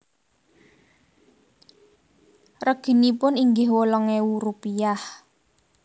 Reginipun inggih wolung ewu rupiah